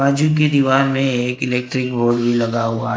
बाजू की दीवार में एक इलेक्ट्रिक बोर्ड भी लगा हुआ--